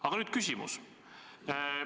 Aga nüüd küsimus.